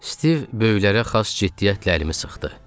Stiv böyüklərə xas ciddiyyətlə əlimi sıxdı.